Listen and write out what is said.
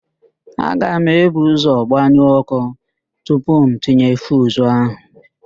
Aga m ebu ụ́zọ̀ gbanyụọ ọ́kụ́ tupu m tinye fiuzu ahụ.